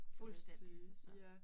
Fuldstændigt altså